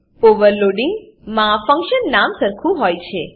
overloading માં function નામ સરખું હોય છે